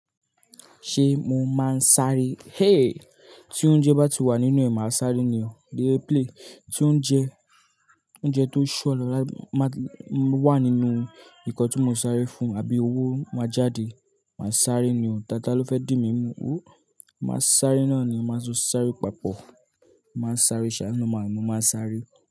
Ṣé mo máa ń sáré? Hey! Tí oúnjẹ bá ti wà nínú ẹ̀ máa sáré ni o, Dey play. Tí oúnjẹ, oúnjẹ tó sure wà nínú nnkan tí mo sáré fún àbí owó má jáde, máa sáré ni o. Tata ló fẹ́ dì mí mú wó. Máa sáré náà ni, máa sáré papọ̀, máa sáré, ṣa, náà ni mo máa sáré.